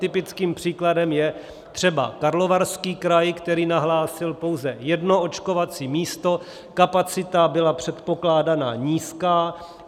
Typickým příkladem je třeba Karlovarský kraj, který nahlásil pouze jedno očkovací místo, kapacita byla předpokládána nízká.